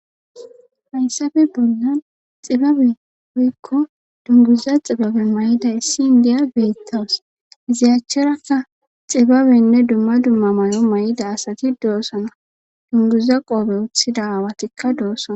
Hayssafe bollan xibabe hoykko dunguza xibabe may7ida issi indiya beettawus iziyachcharakka xibabenne dumma dumma may7o may7ida asati doosana dunguza qoobe uthida aawatikka doossana.